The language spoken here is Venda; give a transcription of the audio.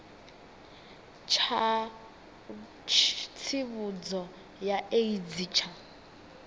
tsha tsivhudzo ya aids tsha